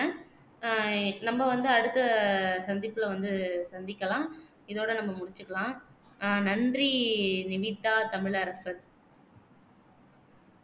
நம்ம வந்து அடுத்த சந்திப்புல வந்து சந்திக்கலாம் இதோட நம்ம முசிச்குக்கலாம் அஹ் நன்றி நிவீதா தமிழரசன்